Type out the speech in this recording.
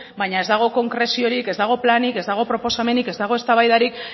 baina ez dago konkreziorik ez dago planik ez dago proposamenik ez dago eztabaidarik